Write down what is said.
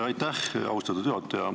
Aitäh, austatud juhataja!